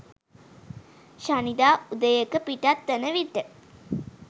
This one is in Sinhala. ශනිදා උදයක පිටත් වන විට